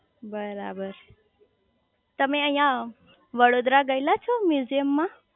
બરાબર તમે અહીંયા વડોદરા ગયેલા છો મ્યુઝિયમ માં